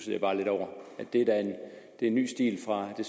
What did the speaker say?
jeg bare lidt over det er da en ny stil fra det